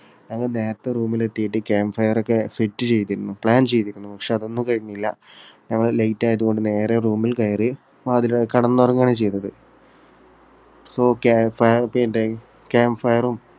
ഞങ്ങൾ നേരത്തെ room ൽ എത്തിയിട്ട് camp fire ഒക്കെ set ചെയ്തിരുന്നു. plan ചെയ്തിരുന്നു. പക്ഷേ അതൊന്നും കഴിഞ്ഞില്ല. ഞങ്ങൾ late ആയതുകൊണ്ട് നേരെ room ൽ കയറി വാതില്, കിടന്നുറങ്ങുകയാണ് ചെയ്തത്. fan ഒക്കെയുണ്ടായി. camp fre